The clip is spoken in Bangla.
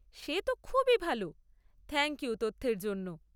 সে তো খুবই ভাল। থ্যাংক ইউ তথ্যের জন্য।